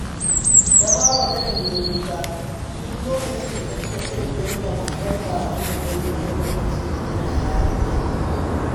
Tabawa takan yi kuka duk lokacin da tuna irin yadda matar babanta ta yi mata lokacin tana yarinya